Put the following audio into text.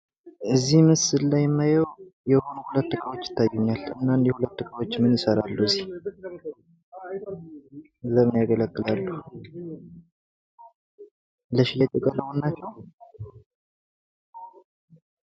እዚህ ምስል ላይ የማየው ሁለት እቃዎች ይታዩኛል። እና አኒህ ሁለት እቃዎች ምን ይሰራሉ እዚህ? ለምን ያገለግላሉ? ለሽያጭ የቀረቡ ናቸው?